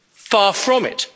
Far from it.